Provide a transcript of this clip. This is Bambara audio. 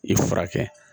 I furakɛ